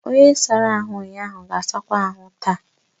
Onye sara ahụ ụnyaahụ ga-asakwa ahụ taa.